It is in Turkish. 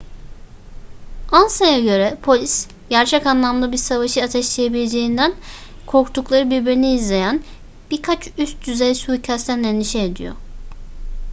ansa'ya göre polis gerçek anlamda bir savaşı ateşleyebileceğinden korktukları birbirini izleyen birkaç üst düzey suikastten endişe ediyor